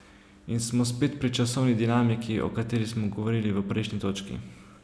In smo spet pri časovni dinamiki, o kateri smo govorili v prejšnji točki.